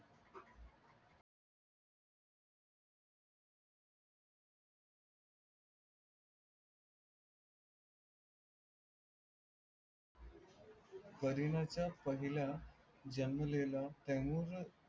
कारीनाच्या पहिल्या जन्मलेला टेमुरला